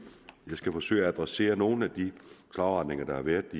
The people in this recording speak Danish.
jeg skal forsøge at adressere nogle af de krav og retninger der har været